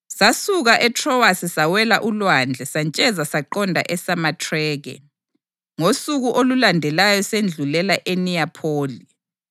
Sasuka eTrowasi sawela ulwandle santsheza saqonda eSamathrake, ngosuku olulandelayo sedlulela eNiyapholi.